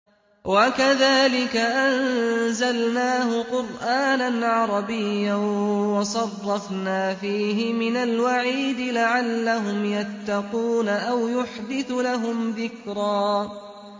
وَكَذَٰلِكَ أَنزَلْنَاهُ قُرْآنًا عَرَبِيًّا وَصَرَّفْنَا فِيهِ مِنَ الْوَعِيدِ لَعَلَّهُمْ يَتَّقُونَ أَوْ يُحْدِثُ لَهُمْ ذِكْرًا